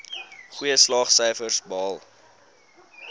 goeie slaagsyfers behaal